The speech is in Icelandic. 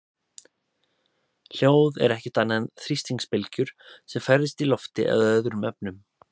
Hljóð er ekkert annað en þrýstingsbylgjur sem ferðast í lofti eða öðrum efnum.